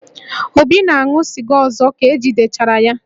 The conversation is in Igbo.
Obi ga-aṅụ sịga ọzọ ka e jidechara ya?